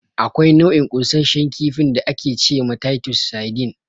Akwai nau'in ƙunsashen kifin da ake ce ma "Taitos Saidin".